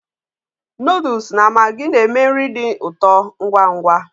Noodles na maggi na-eme nri dị ụtọ ngwa ngwa